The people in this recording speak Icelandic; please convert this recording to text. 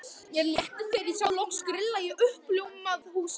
Mér létti þegar ég sá loks grilla í uppljómað húsið.